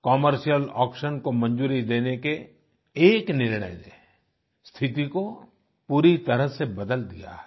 commercial auction को मंजूरी देने के एक निर्णय ने स्थिति को पूरी तरह से बदल दिया है